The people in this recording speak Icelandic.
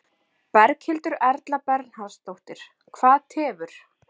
Berghildur Erla Bernharðsdóttir: Hvað tefur?